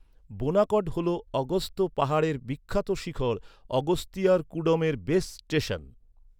বোনাকড হল অগস্ত্য পাহাড়ের বিখ্যাত শিখর অগস্তিয়ারকুডমের বেস স্টেশন।